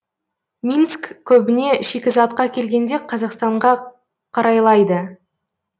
минск көбіне шикізатқа келгенде қазақстанға қарайлайды